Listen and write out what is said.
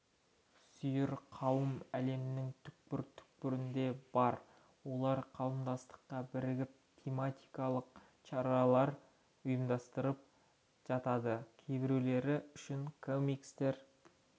сүйер қауым әлемнің түкпір-түкпірінде бар олар қауымдастыққа бірігіп тематикалық щаралар ұйымдастырып жатады кейбіреулері үшін комикстер